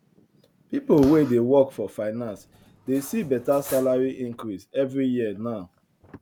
people wey dey work for finance dey see better salary increase every year now